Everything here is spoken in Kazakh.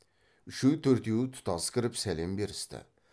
үшеу төртеуі тұтас кіріп сәлем берісті